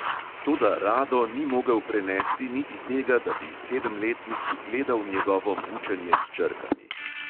Toda rado ni mogel prenesti niti tega, da bi sedemletnik gledal njegovo mučenje s črkami.